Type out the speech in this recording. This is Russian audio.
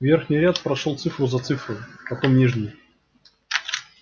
верхний ряд прошёл цифру за цифрой потом нижний